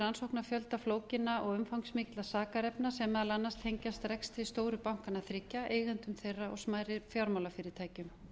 rannsóknar fjölda flókinna og umfangsmikilla sakarefna sem meðal annars tengjast rekstri stóru bankanna þriggja eigendum þeirra og smærri fjármálafyrirtækjum